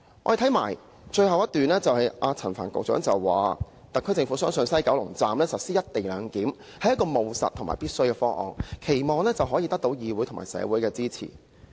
在其發言稿的最後一段，陳帆局長說："特區政府相信在西九龍站實施'一地兩檢'是務實和必要的方案，期望可以得到議會及社會的支持"。